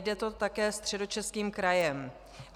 Jde to také Středočeským krajem.